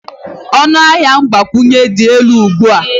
ọnụ ahịa mgbakwunye dị elu ugbu a